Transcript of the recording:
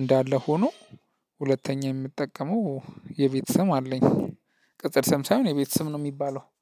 እንዳለ ሆኖ። ሁለተኛ የምጠቀመው የቤት ስም አለኝ። ቅጽል ስም ሳይሆን የቤት ስም ነው ሚባለው